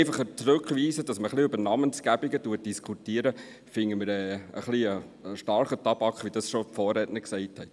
Einfach zurückzuweisen, damit man ein bisschen über Namensgebungen diskutieren kann, ist aus unserer Sicht ein etwas starker Tabak, wie es auch schon die Vorredner gesagt haben.